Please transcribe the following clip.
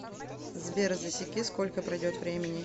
сбер засеки сколько пройдет времени